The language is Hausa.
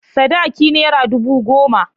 Sadaki naira ɗubu goma.